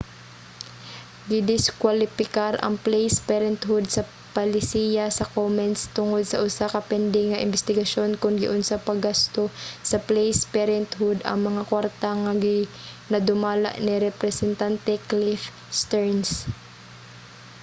gidiskuwalipikar ang placed parenthood sa palisiya sa komens tungod sa usa ka pending nga imbestigasyon kon giunsa paggasto sa placed parenthood ang mga kwarta nga ginadumala ni representante cliff stearns